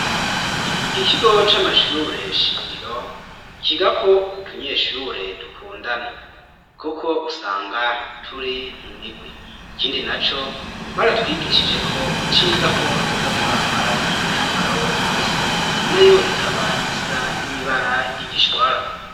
Iki kigo c'amashure shingiro cigako utunyeshure dukundana kuko usanga turi mu mirwi ikindi na co baratwigishije ko iciza ko twoza turambara imyambaro isa nayo ikaba isa n'ibara ry'igishwara